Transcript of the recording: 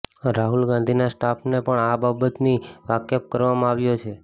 રાહુલ ગાંધીના સ્ટાફને પણ આ બાબતથી વાકેફ કરવામાં આવ્યો છે